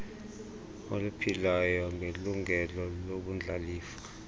oluphilayo ngelungelo lobundlalifa